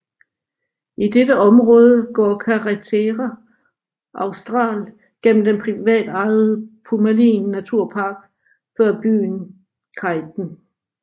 I dette område går Carretera Austral igennem den privatejede Pumalin naturpark før byen Chaiten